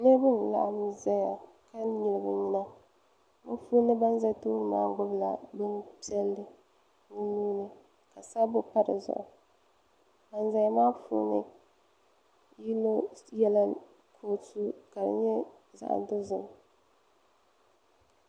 Niriba n laɣim zaya ka nyili bɛ nyina bɛ puuni ban za tooni maa gbibi la bob'piɛli bɛ nuuni ka sabbu pa di zuɣu ban zaya maa puuni yino yela kootu ka di nyɛ zaɣa dozim.